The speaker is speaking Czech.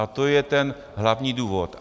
A to je ten hlavní důvod.